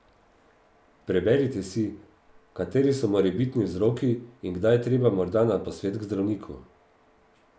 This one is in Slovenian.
Preberite si, kateri so morebitni vzroki in kdaj je treba morda na posvet k zdravniku.